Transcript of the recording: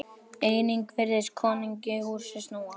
Einnig virtist konungi húsið snúast.